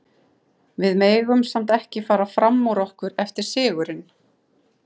Við megum samt ekki fara fram úr okkur eftir sigurinn.